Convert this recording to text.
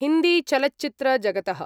हिन्दीचलच्चित्रजगतः